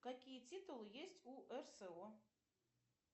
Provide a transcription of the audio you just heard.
какие титулы есть у рсо